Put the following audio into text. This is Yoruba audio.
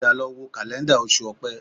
Padà lọ wo kàlẹ́ńdà Oṣù Opẹ́